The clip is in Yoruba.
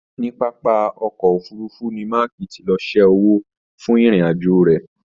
Níní papa ọkọ òfurùnfu ni Maaki tí lọ sẹ́ owó fún ìrìn àjò rẹ.